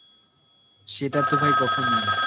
সেটা তো ভাই কখনই না.